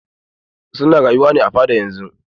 Su na rayuwa ne a fada yanzun.